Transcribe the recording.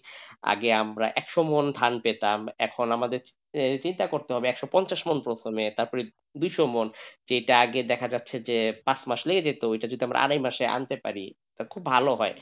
আগে আমরা এক সমন ধান পেতাম এখন আমাদের চিন্তা করতে হবে একশো পঞ্চাশ মন প্রথমে তারপর দুশো মন যেটা আগে দেখা যাচ্ছে যে যেত ঐটা যদি আমরা আড়াই মাসে আনতে পারি তাহলে খুব ভালো হয়।